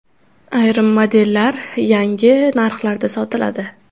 Ayrim modellar yangi narxlarda sotiladi.